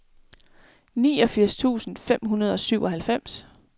fireogfirs tusind fem hundrede og syvoghalvfems